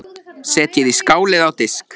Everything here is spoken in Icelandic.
Setjið í skál eða á disk.